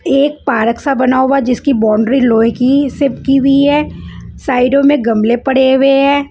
एक पार्क सा बना हुआ जिसकी बाउंड्री लोहे की से की हुई है साइडों में गमले पड़े हुए हैं।